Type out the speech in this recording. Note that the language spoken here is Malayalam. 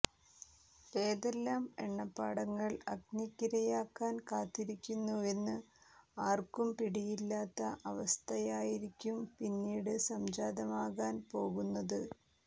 ഏതെല്ലാം എണ്ണപ്പാടങ്ങൾ അഗ്നിക്കിരയാക്കാൻ കാത്തിരിക്കുന്നുവെന്ന് ആർക്കും പിടിയില്ലാത്ത അവസ്ഥയായിരിക്കും പിന്നീട് സംജാതമാകാൻ പോകുന്നത്